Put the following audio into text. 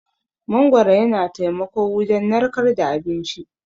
Mangwaro yana taimako wujan narkar da abinci.